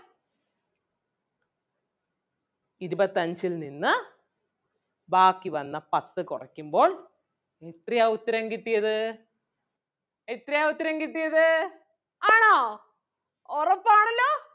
ഇരുപത്തഞ്ചിൽ നിന്ന് ബാക്കി വന്ന പത്ത് കൊറയ്ക്കുമ്പോൾ എത്രയാ ഉത്തരം കിട്ടിയത് എത്രയാ ഉത്തരം കിട്ടിയത് ആണോ ഒറപ്പാണല്ലോ